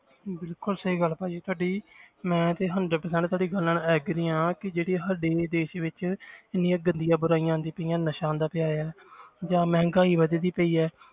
ਬਿਲਕੁਲ ਸਹੀ ਗੱਲ ਹੈ ਭਾਜੀ ਤੁਹਾਡੀ ਮੈਂ ਤੇ hundred percent ਤੁਹਾਡੀ ਗੱਲ ਨਾਲ agree ਹਾਂ ਕਿ ਜਿਹੜੀ ਸਾਡੇ ਵਿੱਚ ਇੰਨੀਆਂ ਗੰਦੀਆਂ ਬੁਰਾਈਆਂ ਆਉਂਦੀਆਂ ਪਈਆਂ, ਨਸ਼ਾ ਆਉਂਦਾ ਪਿਆ ਹੈ ਜਾਂ ਮਹਿੰਗਾਈ ਵੱਧਦੀ ਪਈ ਹੈ।